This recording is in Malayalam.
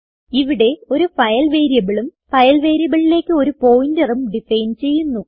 ഇവിടെ ഒരു ഫൈൽ വേരിയബിൾ ഉം ഫൈൽ variableലേക്ക് ഒരു pointerഉം ഡിഫൈൻ ചെയ്യുന്നു